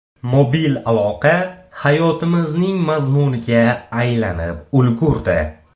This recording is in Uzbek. Mobil aloqa hayotimizning mazmuniga aylanib ulgurdi.